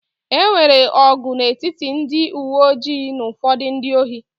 E nwere ọgụ n'etiti ndị uwe ojii na ụfọdụ ndị ohi